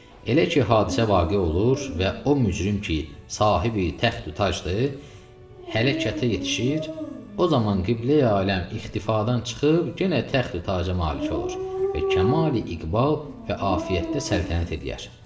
Elə ki, hadisə vaqe olur və o mücrim ki, sahib tacdır, hələkətə yetişir, o zaman qibleyi aləm ixtifadan çıxıb genə təxti taca malik olur və kamali iqbal və afiyətdə səltənət eləyər.